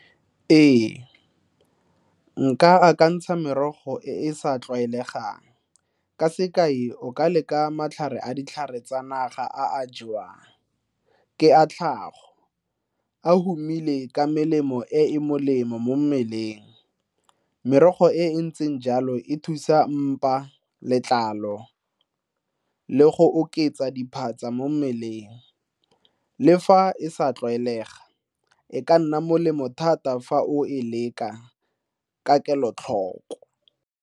Ee, nka akantsha merogo e e sa tlwaelegang. Ka sekai, o ka leka matlhare a ditlhare tsa naga a a jewang. Ke a tlhago, a humile ka melemo e e molemo mo mmeleng. Merogo e e ntseng jalo e thusa mpa, letlalo le go oketsa diphatsa mo mmeleng. Le fa e sa tlwaelega, e ka nna molemo thata fa o e leka ka kelotlhoko.